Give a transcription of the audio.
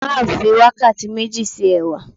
Marv fi wakati meji se ẹwà